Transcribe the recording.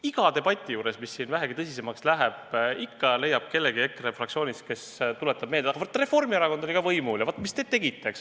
Iga debati puhul, mis siin vähegi tõsisemaks läheb, ikka leiab kellegi EKRE fraktsioonist, kes tuletab meelde, et vaat, Reformierakond oli ka võimul ja vaat, mis te tegite.